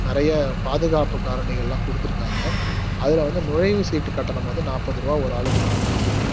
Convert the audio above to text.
நிறைய பாதுகாப்பு காரணிகள்லாம் குடுத்துருக்காங்க அதுல வந்து நுழைவுச் சீட்டு கட்டணம் வந்து நப்பதுரூவா ஒரு ஆளுக்கு வாங்குறாங்க